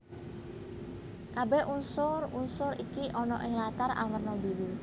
Kabèh unsur unsur iki ana ing latar awerna biru